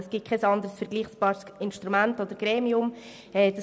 Es gibt kein anderes vergleichbares Instrument oder Gremium im Kanton Bern.